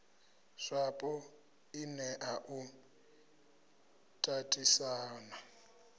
zwapo i nea u tatisana